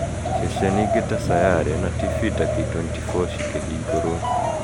Ceceni inge ta Sayare tibi ta na K24 ci kĩhingũruo